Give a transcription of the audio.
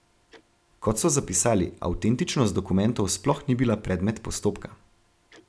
Kot so zapisali, avtentičnost dokumentov sploh ni bila predmet postopka.